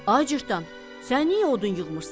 Ay cırtdan, sən niyə odun yığmırsan?